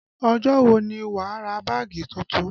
Ọjọ́ wo ni wà á ra báàgì tuntun?